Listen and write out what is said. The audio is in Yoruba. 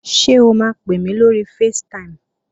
Ṣé o máa pè mí lórí facetime?